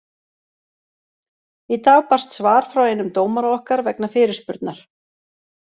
Í dag barst svar frá einum dómara okkar vegna fyrirspurnar.